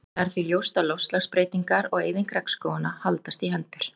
það er því ljóst að loftslagsbreytingar og eyðing regnskóganna haldast í hendur